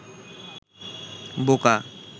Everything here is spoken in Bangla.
বোকা